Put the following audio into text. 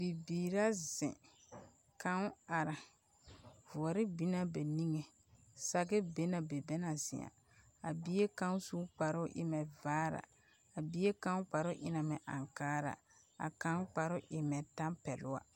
Bibiiri ra zeŋ, kaŋ are, voɔre binna ba niŋe, sage be na be na bana zeŋa, a bie kaŋ su la kparoo o e mɛ vaara, a bie kparoo e na mɛ ankaara, a kaŋ kparoo e mɛ tampɛloŋ wa. 13391